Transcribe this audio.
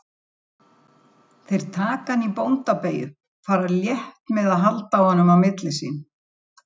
Ég var ekki óhamingjusamur krakki.